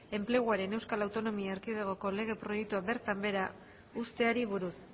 enpleguaren euskal autonomia erkidegoko lege proiektua bertan behera uzteari buruz